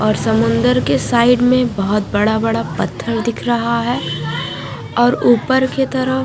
और समुंदर के साइड मे बहुत बड़ा बड़ा पत्थर दिख रहा है और ऊपर के तरफ--